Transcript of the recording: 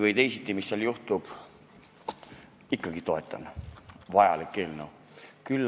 Olenemata sellest, mis seal juhtub – ikkagi toetan, sest see on vajalik eelnõu.